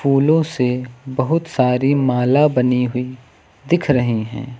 फूलों से बहुत सारी माला बनी हुई दिख रही हैं।